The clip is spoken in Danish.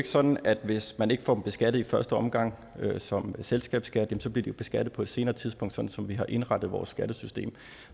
sådan at hvis man ikke får dem beskattet i første omgang som selskabsskat bliver de beskattet på et senere tidspunkt sådan som vi har indrettet vores skattesystem